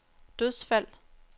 dødsfald